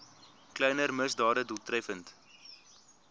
kleiner misdade doeltreffend